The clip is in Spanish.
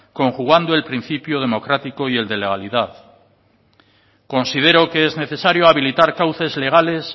conjugando el principio democrático y el de legalidad considero que es necesario habilitar cauces legales